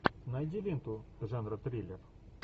найди ленту жанра триллер